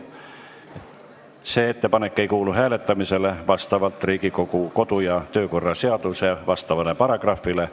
See ettepanek ei kuulu hääletamisele vastavalt Riigikogu kodu- ja töökorra seaduse vastavale paragrahvile.